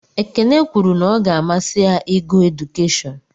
Ekene kwuru na ọ ga-amasị ya ịgụ edukeshọn.